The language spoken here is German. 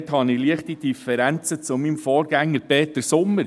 Dort habe ich leichte Differenzen zu meinem Vorredner Peter Sommer.